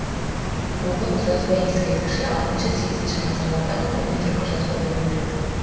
бұғұт жазба ескерткіші алтыншы сегізінші ғасырлардағы көне түркі жазба мәтіні